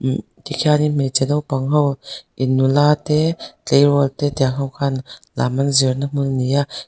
tikhianin hmeichhe naupang ho in nula te tleirawl te tiang ho khan lam an zirna hmun ani a.